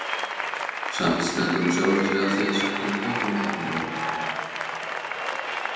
Samt stendur hún sjálfa sig að því að sakna Kaupmannahafnar öðru hvoru.